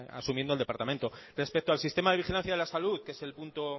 asumiendo el departamento respecto al sistema de vigilancia de la salud que es el punto